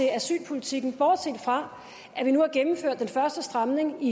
i asylpolitikken bortset fra at vi nu har gennemført den første stramning i